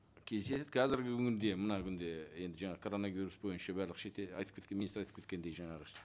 келісесіз қазіргі күнде мына күнде енді жаңа коронавирус бойынша барлық шетел айтып министр айтып кеткендей жаңағы